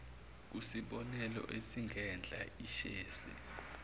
kusibonelo esingenhla ishezi